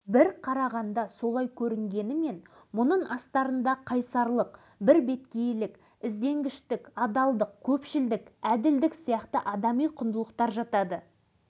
драйзер не дейді жалпы спортшы адамдарда өзгешелеу қасиеттер мен күтпеген мінездер көп ұшырасады әсіресе олар қулық-сұмдық